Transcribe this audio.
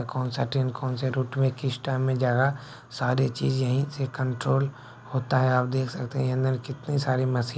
कौन सा ट्रेन कौन से रूट में किस टाइम में जा रहा सारी चीज यही से कंट्रोल होती है आप देख सकते हैं अंदर कितनी सारी मशीन --